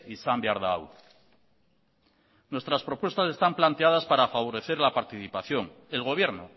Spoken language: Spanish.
izan behar da hau nuestras propuestas están planteadas para favorecer la participación el gobierno